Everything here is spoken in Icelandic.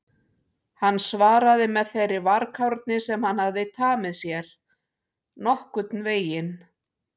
Hann svaraði með þeirri varkárni sem hann hafði tamið sér: Nokkurn veginn